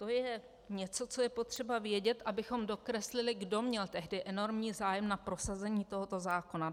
To je něco, co je potřeba vědět, abychom dokreslili, kdo měl tehdy enormní zájem na prosazení tohoto zákona.